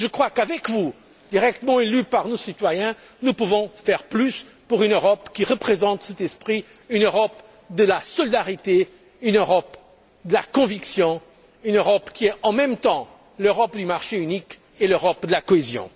Je crois qu'avec vous, directement élus par nos citoyens, nous pouvons faire plus pour une Europe qui représente cet esprit, une Europe de la solidarité, une Europe de la conviction, une Europe qui est en même temps l'Europe du marché unique et l'Europe de la cohésion.